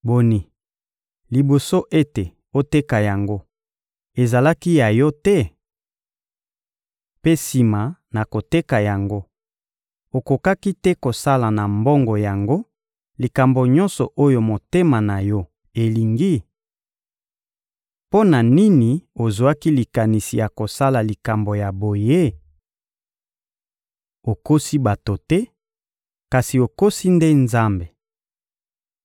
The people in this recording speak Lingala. Boni, liboso ete oteka yango, ezalaki ya yo te? Mpe sima na koteka yango, okokaki te kosala na mbongo yango likambo nyonso oyo motema na yo elingi? Mpo na nini ozwaki likanisi ya kosala likambo ya boye? Okosi bato te, kasi okosi nde Nzambe!